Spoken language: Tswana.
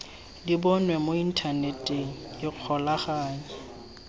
di bonwe mo inthaneteng ikgolaganye